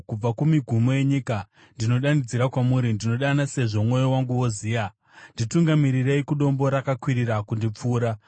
Kubva kumigumo yenyika, ndinodanidzira kwamuri, ndinodana sezvo mwoyo wangu woziya; nditungamirirei kudombo rakakwirira kundipfuura.